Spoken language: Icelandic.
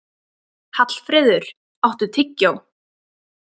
Hallfreður, áttu tyggjó?